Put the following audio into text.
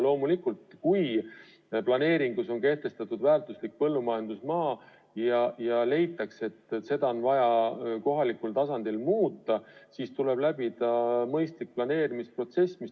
Loomulikult, kui planeeringus on kehtestatud väärtuslik põllumajandusmaa ja leitakse, et seda on vaja kohalikul tasandil muuta, siis tuleb läbida mõistlik planeerimisprotsess.